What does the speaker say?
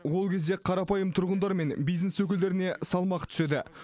ол кезде қарапайым тұрғындар мен бизнес өкілдеріне салмақ түседі